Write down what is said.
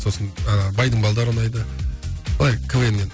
сосын ыыы байдың балалары ұнайды былай квн нен